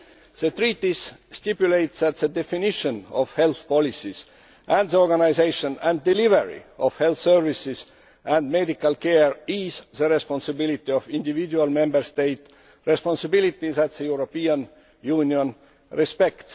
The Treaties stipulate that the definition of health policies and the organisation and delivery of health services and medical care is the responsibility of individual Member States a responsibility that the European Union respects.